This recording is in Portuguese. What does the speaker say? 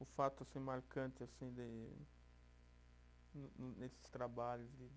O fato assim marcante assim de, no no nesses trabalhos de